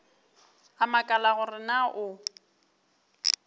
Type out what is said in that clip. a makala gore na o